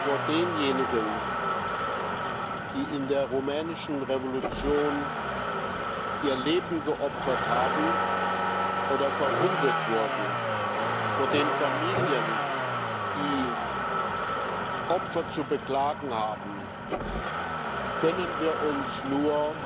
Vor denjenigen, die in der rumänischen Revolution ihr Leben geopfert haben oder verwundet wurden, vor den Familien, die Opfer zu beklagen haben, können wir uns nur